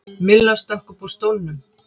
Milla stökk upp úr stólnum.